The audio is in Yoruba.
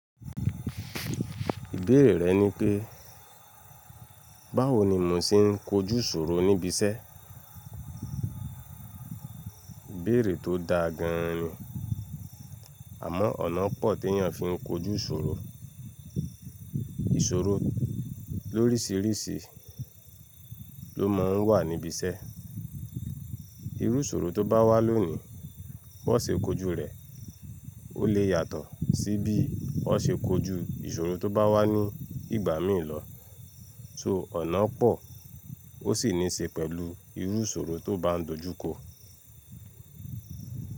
Ìbéèrè rẹ ni pé, báwo ni mò ń ṣe n kojú ìṣòro níbi iṣẹ́? Ìbéèrè tó da gan ni, àmọ́ ọ̀nà pọ̀ tí èyàn fi ń kojú ìṣòro. Ìṣòro lórísirisi ló má ń wà níbi iṣẹ́. Irú ìṣòro tó bá wá lónìí, bó ṣe kojú rẹ̀ o lè yàtọ̀ sí bí ó ṣe kojú ìṣòro tó bá wá ní ìgbà míì lọ. So ọ̀nà pọ̀ ó sì ní í ṣe pẹ̀lú irú ìṣòro tó bá ń dojú kọ.